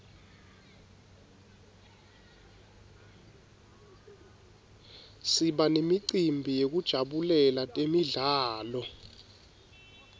siba nemicimbi yekujabulela temidlalo